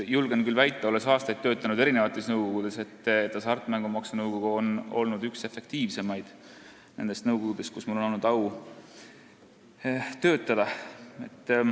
Julgen küll väita, olles aastaid töötanud erinevates nõukogudes, et hasartmängumaksu nõukogu on olnud üks efektiivseimaid nendest nõukogudest, kus mul on olnud au töötada.